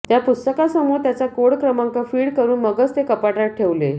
त्या पुस्तकासमोर त्याचा कोड क्रमांक फीड करून मगच ते कपाटात ठेवलं